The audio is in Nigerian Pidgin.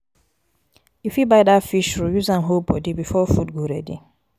you fit buy dat fish roll use am hold bodi before food go ready.